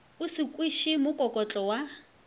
o se kweše mokokotlo wa